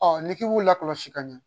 Ɔ ni k'i b'u la kɔlɔsi ka ɲɛ